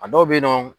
A dɔw bɛ yen nɔ